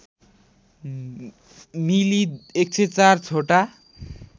मिली १०४ छोटा